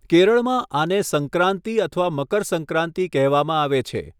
કેરળમાં, આને સંક્રાંતિ અથવા મકર સંક્રાંતિ કહેવામાં આવે છે.